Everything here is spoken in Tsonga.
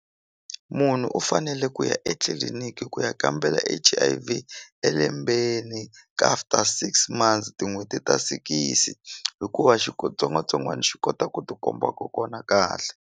Munhu u fanele ku ya etliliniki ku ya kambela H_I_V elembeni ka after six months tin'hweti ta sikisi hikuva tsongwatsongwani xi kota ku ti komba kokwana kahle.